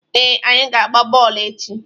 Ee, anyị ga-agba bọọlụ echi.